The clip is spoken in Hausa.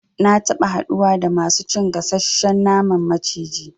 Na taba haɗuwa da masu cin gasashshen naman maciji